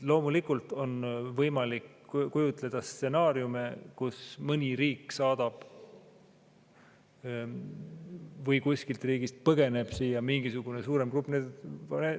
Loomulikult on võimalik kujutleda stsenaariume, kus mõni riik saadab või kuskilt riigist põgeneb siia mingisugune suurem grupp.